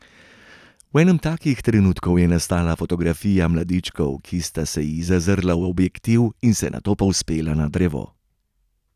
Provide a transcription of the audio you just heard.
V enem takih trenutkov je nastala fotografija mladičkov, ki sta se ji zazrla v objektiv in se nato povzpela na drevo.